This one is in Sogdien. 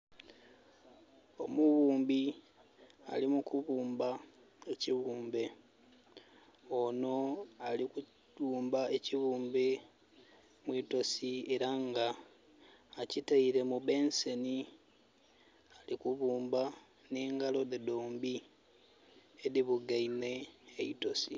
Omuwumbi ali mukubumba ekiwumbe. Ono alikuwumba ekibumbe mwitosi era nga akitaire mu benseni. Alikubumba ne ngalo dhe dhombi edibugaime neyi toosi